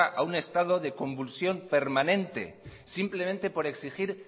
a un estado de convulsión permanente simplemente por exigir